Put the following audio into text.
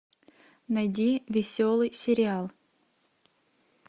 найди веселый сериал